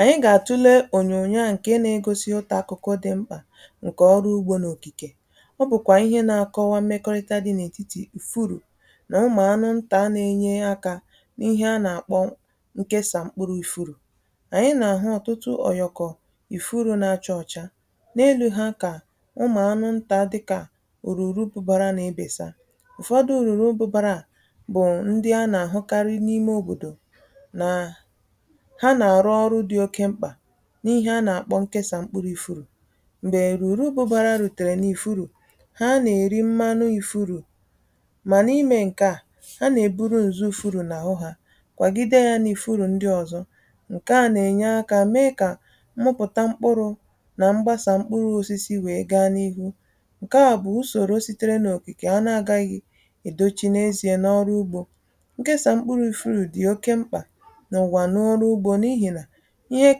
Anyị gà-àtụle ònyònyo à nke nȧ-ėgosi ụtà akụkọ dị mkpà ǹkè ọrụ ugbȯ n’òkìkè. Ọ bụ̀kwà ihe nȧ-akọwa mmekọrịta dị n’ètitì ufuru nà umù anụ ntà na-enye akȧ n’ihe a nà-àkpọ nkesà mkpụrụ ufuru. Anyị nà-ahụ ọ̀tụtụ òyọ̀kọ̀ ufuru nà-achọ ọ̀cha. N’elu ha kà umù anụ ntà dịkà òrùrùbubàrȧ n’ebèsa. Ụfọdụ ùrùrùrùbubàrȧ a bụ̀ ndị a nà-àhụkarị n’ime òbòdò nà ha na-arụ ọrụ dị oke mkpa n’ihe a nà-àkpọ nkesà mkpụrụ ufuru. Mgbè erùrùbụ̀bara rùtèrè n’ufuru ha nà-èri mmanụ ufuru, mà n’imė nke à, ha nà-eburu ǹzu ufuru n’àhụ, ha kwàgide ya n’ufuru ndi ọ̀zọ. Nke à nà-ènye akȧ mee kà mmụpụ̀ta mkpuru nà mgbasà mkpuru osisi wèe gaa n’ihu. Nke à bụ̀ usòrò sitere n’òkìkè a nà-agaghì èdo chi nezie n’ọrụ ugbȯ. Nkesà mkpụrụ ufuru dị̀ oke mkpà n’ụ̀wà n’ọrụ ugbȯ n'ihi na ihe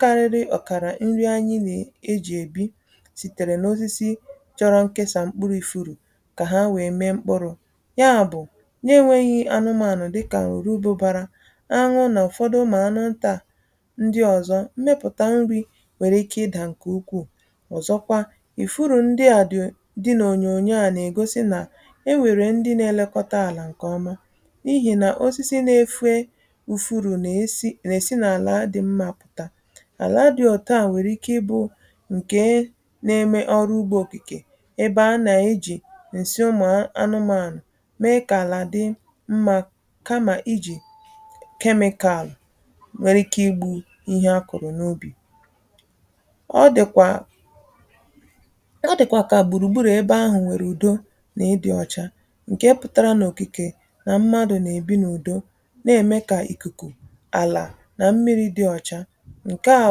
karịrị ọ̀kàrà nrị anyị nà-ejì èbi sìtèrè n’osisi chọrọ nkesà mkpụrụ̇ ufuru kà ha wèe mee mkpụrụ̇. Ya bụ̀ na-enwėghi̇ anụmȧnụ̀ dịkà orubu̇bȧrȧ, anwụ nà ụ̀fọdụ ụmụ anụ ntà ndị ọ̀zọ, mmepùta nrì nwèrè ike ịdà ǹkè ukwuù. Ọzọkwa, ufuru ndị à dị n’ònyòònyo à nà-ègosi nà e nwèrè ndị nȧ-elekọta àlà ǹkè ọma n’ihì nà osisi n’efè ufuru nà esi nà-èsi n'àla dị mma. Ala dị̇ otua nwèrè ike ịbụ̇ ǹkè na-eme ọrụ ugbȯ okìkè ebe a nà-eji ǹsị ụmụ̀anụmȧnụ̀ mee kà àlà dị mma, kamà ijì kemikalụ̀ nwere ike igbụ ihe akụ̀rụ̀ n’ubì. Ọ dị̀kwà ọ dị̀kwà kà gbùrùgburù ebe ahụ̀ nwèrè ùdo nà ị dị̇ ọ̀cha ǹkè pụ̀tara n’òkìkè nà mmadụ̀ nà-èbi n’ùdo na-ème kà ìkùkù, àlà, nà mmiri̇ dị̇ ọ̀cha. Nkè a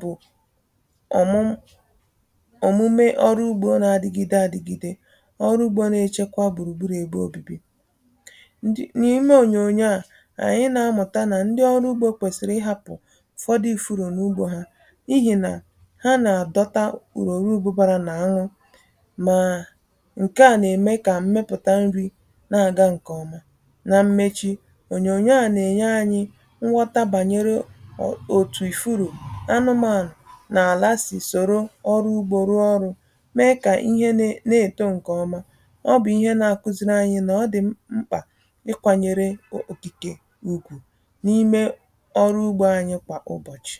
bụ̀ ọmụm omumè ọrụ ugbȯ na-adịgide adịgide. Ọrụ ugbȯ na-echekwa gburugburu̇ ebe obìbì: N’ime ònyònyo a ànyị nà-amụ̀ta nà ndị ọrụ ugbȯ kwèsìrì ị hȧpụ̀ ụ̀fọdị ifu̇ru n’ugbȯ ha n’ihì nà ha nà-àdọta oruruụbụbȧrȧ nà anwụ màà ǹkè a nà-ème kà mmepụ̀ta nrị̇ na-aga ǹkèọma. Na mmechi, ònyònyo a nà-ènye anyị̇ nghọta banyere otu ufuru, anụmanụ, na ala si soro ọrụ ugbo rụọ ọrụ mee ka ihe na eto nke ọma. Ọ bụ ihe na-akuziri anyị na ọ dị mkpa ị kwanyere ogige ugwu n’ime ọrụ ugbo anyị kwa ụbọchị.